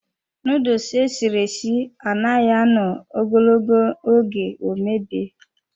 Nuduls esiri esi anaghị anọ ogologo oge ọ mebie.